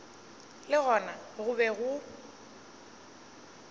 le gona go be go